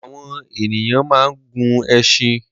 Àwọn ènìyàn máa ń gun ẹṣin